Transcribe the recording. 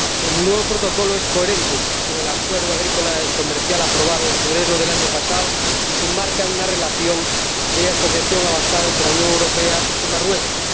Señora Presidenta, el nuevo Protocolo es coherente con el acuerdo agrícola y comercial aprobado en febrero del año pasado y se enmarca en una relación de asociación avanzada entre la Unión Europea y Marruecos.